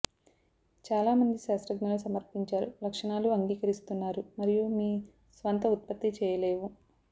చాలా మంది శాస్త్రజ్ఞులు సమర్పించారు లక్షణాలు అంగీకరిస్తున్నారు మరియు మీ స్వంత ఉత్పత్తి చేయలేవు